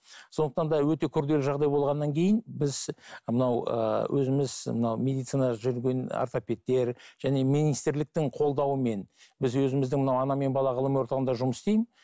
сондықтан да өте күрделі жағдай болғаннан кейін біз мынау ыыы өзіміз мынау медицинада жүрген ортопедтер және министрліктің қолдауымен біз өзіміздің мына ана мен бала ғылыми орталығында жұмыс істеймін